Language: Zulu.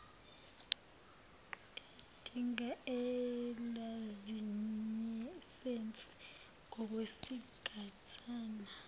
edinga ilayisense ngokwesigatshana